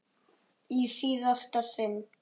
Í síðasta sinn.